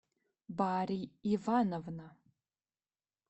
бари ивановна